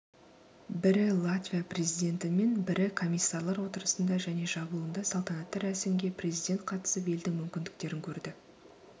бірі латвия президентімен бірі комиссарлар отырысында және жабылуында салтанатты рәсімге президент қатысып елдің мүмкіндіктерін көрді